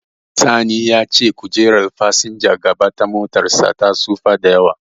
Sani ya ce kojerar fasinjan gaba ta motarsa ta tsufa da yawa.